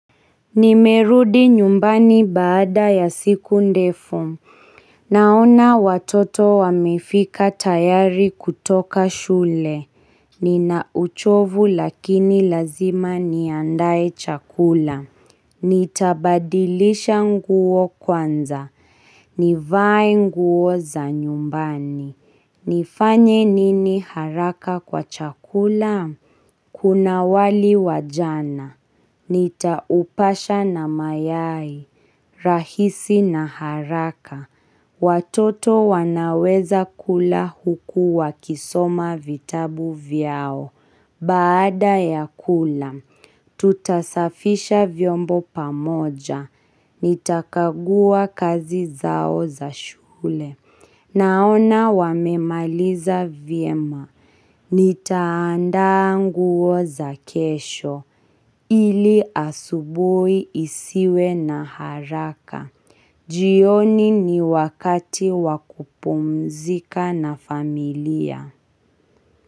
Nimerudi nyumbani baada ya siku ndefu Naona watoto wamefika tayari kutoka shule. Nina uchovu lakini lazima niandae chakula. Nitabadilisha nguo kwanza. Nivae nguo za nyumbani. Nifanye nini haraka kwa chakula? Kuna wali wajana. Rahisi na haraka. Watoto wanaweza kula huku wakisoma vitabu vyao, baada ya kula, tutasafisha vyombo pamoja, nitakagua kazi zao za shule. Naona wamemaliza vyema. Nitaandaa nguo za kesho. Ili asubuhi isiwe na haraka. Jioni ni wakati wa kupumzika na familia.